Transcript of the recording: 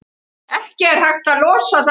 Ekki er hægt að losa það af.